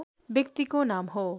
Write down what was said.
व्यक्तिको नाम हो